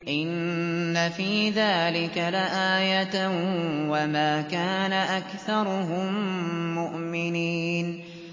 إِنَّ فِي ذَٰلِكَ لَآيَةً ۖ وَمَا كَانَ أَكْثَرُهُم مُّؤْمِنِينَ